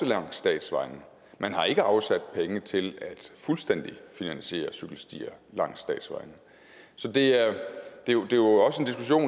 langs statsvejene man har ikke afsat penge til fuldstændig at finansiere cykelstier langs statsvejene så det er jo